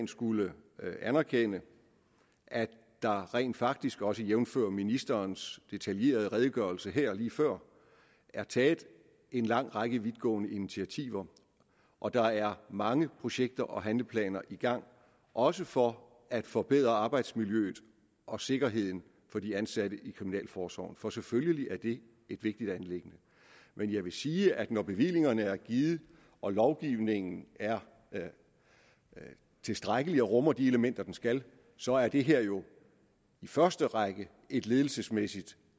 skulle anerkende at der rent faktisk også jævnfør ministerens detaljerede redegørelse her lige før er taget en lang række vidtgående initiativer og at der er mange projekter og handleplaner i gang også for at forbedre arbejdsmiljøet og sikkerheden for de ansatte i kriminalforsorgen for selvfølgelig er det et vigtigt anliggende men jeg vil sige at når bevillingerne er givet og lovgivningen er tilstrækkelig og rummer de elementer den skal så er det her jo i første række et ledelsesmæssigt